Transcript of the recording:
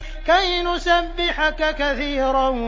كَيْ نُسَبِّحَكَ كَثِيرًا